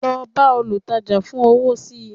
lọ bá olùtajà fún owó sí